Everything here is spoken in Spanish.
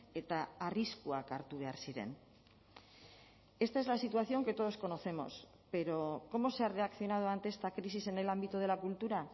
eta arriskuak hartu behar ziren esta es la situación que todos conocemos pero cómo se ha reaccionado ante esta crisis en el ámbito de la cultura